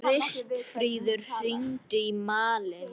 Kristfríður, hringdu í Malin.